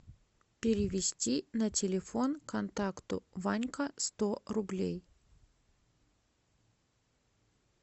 перевести на телефон контакту ванька сто рублей